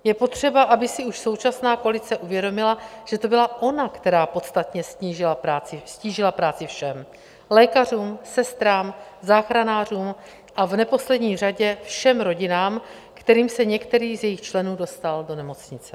Je potřeba, aby si už současná koalice uvědomila, že to byla ona, která podstatně ztížila práci všem, lékařům, sestrám, záchranářům a v neposlední řadě všem rodinám, kterým se některý z jejich členů dostal do nemocnice.